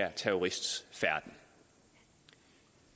her terrorists færden